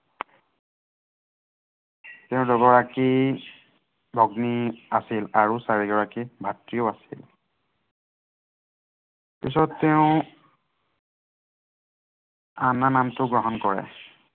তেওঁৰ দুগৰাকী, ভগ্নী আছিল আৰু চাৰিগৰাকী ভাতৃও আছিল। পিছত তেওঁ আন্না নামটো গ্ৰহণ কৰে।